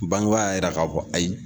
Bangebaa yɛrɛ y'a yira k'a fɔ ayi.